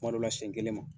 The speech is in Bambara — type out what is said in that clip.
Kuma dɔw la siɲɛ kelen ma